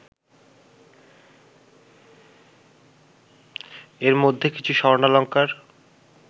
এর মধ্যে কিছু স্বর্ণালঙ্কার